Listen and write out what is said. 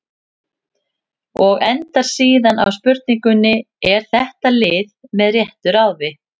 Og endar síðan á spurningunni: Er þetta lið með réttu ráði?